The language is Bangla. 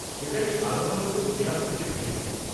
সেটাই সাধারণত মেয়াদটিকে ভেঙে দেয়।